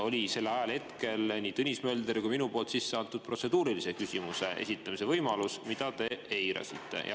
Aga sellel ajahetkel oli nii Tõnis Mölder kui olin ka mina sisse andnud protseduurilise küsimuse esitamise, mida te eirasite.